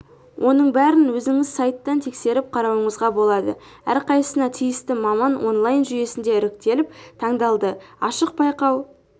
оның бәрін өзіңіз сайттан тексеріп қарауыңызға болады әрқайсысына тиісті маман онлайн жүйесінде іріктеліп таңдалды ашық байқау